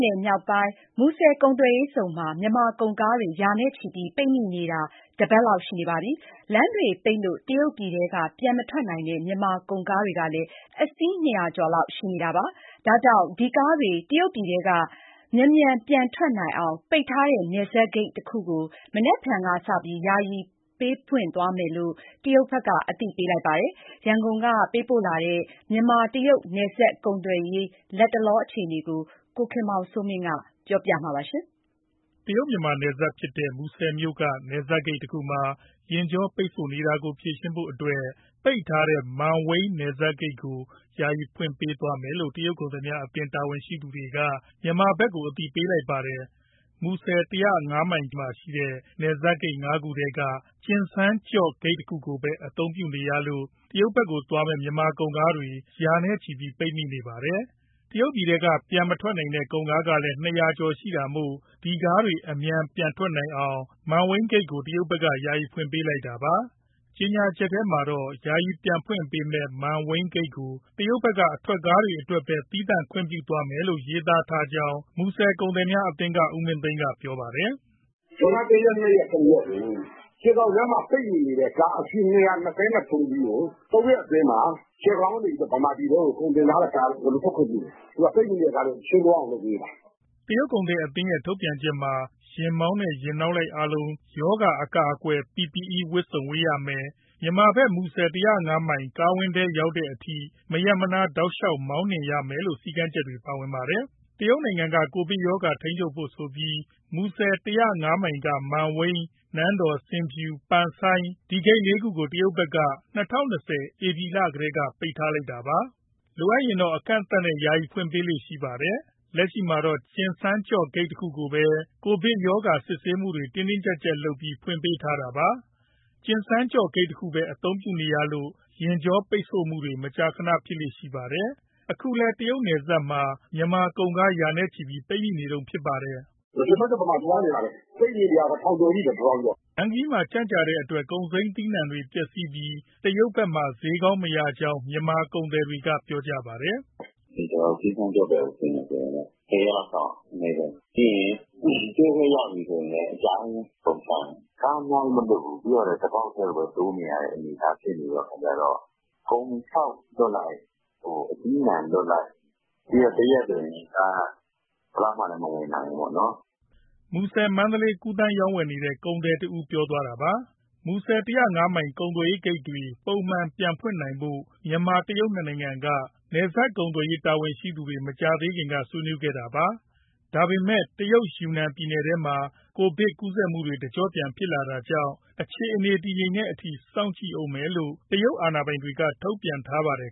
နယ်မြောက်ပိုင်း၊ မူဆယ်ကုန်သွယ်ရေးဇုန်မှာ မြန်မာကုန်ကားတွေ ရာနဲ့ချီပြီး ပိတ်မိနေတာ တပတ်လောက်ရှိပါပြီ။ လမ်းတွေပိတ်လို့ တရုတ်ပြည်ထဲက ပြန်မထွက်နိုင်တဲ့ မြန်မာကုန်ကားကလည်း အစီး ၂၀၀ ကျော်လောက်ရှိပါတယ်။ ဒါကြောင့် ဒီကားတွေ တရုတ်ပြည်ထဲက မြန်မြန် ပြန်ထွက်နိုင်အောင် ပိတ်ထားတဲ့ နယ်စပ်ဂိတ်တခုကို မနက်ဖြန်ကစပြီး ယာယီဖွင့်ပေးသွားမယ်လို့ တရုတ်ဘက်က အသိပေးလိုက်ပါတယ်။ ရန်ကုန်က ပေးပို့လာတဲ့ မြန်မာ- တရုတ် နယ်စပ်ကုန်သွယ်ရေး လတ်တလော အခြေအနေကို ဗွီအိုအေ မြန်မာပိုင်းက ကိုခင်မောင်စိုးမင်း က ပြောပြပါလိမ့်မယ်။ တရုတ်- မြန်မာနယ်စပ်ဖြစ်တဲ့ မူဆယ်မြို့က နယ်စပ်ဂိတ်တခုမှာ ယာဉ်ကြောပိတ်ဆို့နေတာကို ဖြေရှင်းဖို့အတွက် ပိတ်ထားတဲ့ မန်ဝိန်း နယ်စပ်ဂိတ်ကို ယာယီဖွင့်ပေးသွားမယ်လို့ တရုတ်ကုန်သည်အသင်း တာဝန်ရှိသူတွေက မြန်မာဘက်ကို အသိပေးလိုက်ပါတယ်။ မူဆယ် ၁၀၅ မိုင်မှာရှိတဲ့ နပ်စပ်ဂိတ် ၅ ခုထဲက ကျင်စန်းကျော့ဂိတ်တခုကိုပဲ အသုံးပြုနေရလို့ တရုတ်ဘက်သွားမယ့် မြန်မာကုန်ကားတွေ ရာနဲ့ချီပြီး ပိတ်မိနေပါတယ်။ တရုတ်ပြည်ထဲက ပြန်မထွက်နိုင်တဲ့ ကုန်ကားကလည်း ၂၀၀ ကျော်ရှိတာမို့ ဒီကားတွေ အမြန်ပြန်ထွက်နိုင်အောင် မန်ဝိန်းဂိတ်ကို တရုတ်ဘက်က ယာယီဖွင့်ပေးလိုက်တာပါ။ ကြေညာချက်ထဲမှာတော့ ယာယီ ပြန်ဖွင့်ပေးမယ့် မန်ဝိန်းဂိတ်ကို တရုတ်ဘက်က အထွက်ကားအတွက်ပဲ သီးသန့်ခွင့်ပြုသွားမယ်လို့ ရေးသားထားကြောင်း မူဆယ်ကုန်သည် အသင်းက ဦးမင်းသိန်းက ပြောပါတယ်။ “ဇွန်လ ၁ရက်၊ ၂ရက်၊ ၃ရက်ကို ကျယ်ခေါင်လမ်းမှာ ပိတ်မိနေတဲ့ ကားအစီး ၂၂၃ စီးကို သုံးရက်အတွင်းမှာ ကျယ်ဂေါင်ကနေ ဗမာပြည်ထဲကို ကုန်ကားတွေအကုန် ထွက်ခွင့်ပြုမယ်။ သူက ပိတ်မိနေတဲ့ကားတွေ ရှင်းသွားအောင် လုပ်ပေးလိုက်တာ။” တရုတ်ကုန်သည်အသင်းရဲ့ ထုတ်ပြန်ချက်ထဲမှာ ယာဉ်မောင်းနဲ့ ယာဉ်နောက်လိုက်အားလုံး ရောဂါအကာအကွယ် PPE ဝတ်စုံဝတ်ရမယ်၊ မြန်မာဘက် မူဆယ် ၁၀၅ မိုင် ကားဝင်းထဲ ရောက်တဲ့အထိ မရပ်မနား တောက်လျှောက်မောင်းနှင်ရမယ်လို့ စည်းကမ်းချက်တွေ ပါပါတယ်။ တရုတ်နိုင်ငံက ကိုဗစ်ရောဂါ ထိန်းချုပ်ဖို့ဆိုပြီး မူဆယ် ၁၀၅ မိုင်က မန်ဝိန်း၊ နန်းတော်၊ ဆင်ဖြူ၊ ပန်ဆိုင်း ဒီဂိတ် ၄ ခုကို တရုတ်ဘက်က ၂၀၂၀ ဧပြီလကတည်းက ပိတ်လိုက်တာပါ။ လိုအပ်ရင်တော့ အကန့်အသတ်နဲ့ ယာယီဖွင့်ပေးလေ့ရှိပါတယ်။ လက်ရှိမှာတော့ ကျင်စန်းကျော့ဂိတ် တခုကိုပဲ ကိုဗစ်ရောဂါ စစ်ဆေးမှုတွေ တင်းတင်းကြပ်ကြပ်လုပ်ပြီး ဖွင့်ပေးထားတာပါ။ ကျင်စန်းကျော့ဂိတ်တခုပဲ အသုံးပြုနေရလို့ ယာဉ်ကြောပိတ်ဆို့မှုတွေ မကြာခဏ ဖြစ်လေ့ရှိပါတယ်။ အခုလည်း တရုတ်နယ်စပ်မှာ မြန်မာကုန်ကား ရာနဲ့ချီပြီးပိတ်မိနေတုန်း ဖြစ်ပါတယ်။ “ ကျင်စန်းကျော့ဘက်မှာ သွားနေတာပဲ၊ ပိတ်မိနေတာကိုက ၁၀၀၀ ကျော်ရှိတယ်” လမ်းခရီးမှာ ကြန့်ကြာတဲ့အတွက် ကုန်စိမ်းသီးနှံတွေ ပျက်စီးပြီး တရုတ်ဘက်မှာ ဈေးကောင်းမရကြောင်း မြန်မာကုန်သည်တွေက ပြောကြပါတယ်။ “ကျနော်တို့ ကျင်စန်းကျော့ဘက် ဆင်းမယ်ဆိုရင် ၁၀ ရက်လောက်စောင့်ရတယ် အနည်းဆုံး။ ပြီးရင် တရုတ်ဘက် ရောက်ပြီဆိုရင်လည်း အကြာကြီးပဲ ကုန်ချရင်။ ကားအများကြီး မလွှတ်ဘူး၊ ပြီးတော့လည်း တပေါက်တည်းကိုပဲ တိုးနေရတဲ့ အနေအထား ဖြစ်နေတော့ ကုန်ခြောက်လွှတ်လိုက်၊ အသီးအနှံလွှတ်လိုက်နဲ့ တရက်ဆိုရင် ကားက ဘယ်လောက်မှလည်း မဝင်နိုင်ဘူးပေါ့နော်။” မူဆယ်- မန္တလေး ကူးသန်းရောင်းဝယ်နေတဲ့ ကုန်သည်တဦး ပြောသွားတာပါ။ မူဆယ် ၁၀၅ မိုင်ကုန်သွယ်ရေးဂိတ်တွေ ပုံမှန် ပြန်ဖွင့်နိုင်ဖို့ မြန်မာ၊ တရုတ် နှစ်နိုင်ငံက နယ်စပ်ကုန်သွယ်ရေး တာဝန်ရှိသူတွေ မကြာသေးခင်က ဆွေးနွေးခဲ့တာပါ။ ဒါပေမဲ့ တရုတ်ယူနန်ပြည်နယ်ထဲမှာ ကိုဗစ်ကူးစက်မှုတွေ တကြော့ပြန် ဖြစ်လာတာကြောင့် အခြေအနေ တည်ငြိမ်တဲ့အထိ စောင့်ကြည့်ဦးမယ်လို့ တရုတ် အာဏာပိုင်တွေက ထုတ်ပြန်ထားပါတယ်